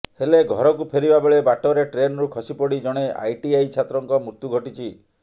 ହେଲେ ଘରକୁ ଫେରିବା ବେଳେ ବାଟରେ ଟ୍ରେନରୁ ଖସିପଡି ଜଣେ ଆଇଟିଆଇ ଛାତ୍ରଙ୍କ ମୃତ୍ୟୁ ଘଟିଛି